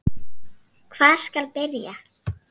Hvar skal byrja.